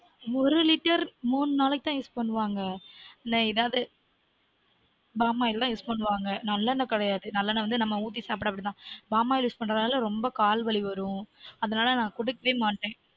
ஒரு litre மூனு நாளைக்கு தான் use பண்ணுவாங்க நான் எதாவது பாமாயில் தான் use பண்ணுவாங்க ந்ல்ல எண்ண கிடையாது நல்ல எண்ண நம்ம ஊத்தி சாப்ட அப்டி தான் பாமாயில் use பண்றதுனால ரொம்ப கால் வலி வரும் அது நால நான் குடுக்கவே மாட்டன்